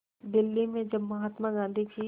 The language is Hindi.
दिल्ली में जब महात्मा गांधी की